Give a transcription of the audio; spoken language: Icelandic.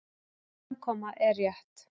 Hans framkoma er rétt.